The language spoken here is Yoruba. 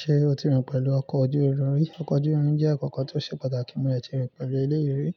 Ṣé o ti rìn pẹ̀lú ọkọ̀ ojú irin rí? Ọkọ̀ ojú irin jẹ́ ǹkan kan tó ṣe pàtàkì mọ́ dẹ̀tì rìn pẹ̀lú ilé rí.